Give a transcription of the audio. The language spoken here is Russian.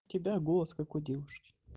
тебя голос как у девушки